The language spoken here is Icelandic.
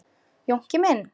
Jónki minn.